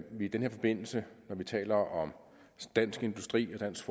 vi i den her forbindelse når vi taler om dansk industri og dansk